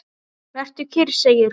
Vertu kyrr, segir hún.